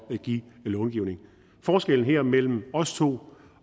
at give långivning forskellen her mellem os to